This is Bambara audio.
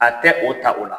A tɛ o ta o la